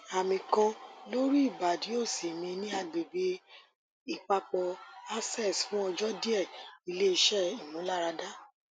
ami kan lori ibadi osi mi ni agbegbe ipapo aces fun ojo die ile ise imularada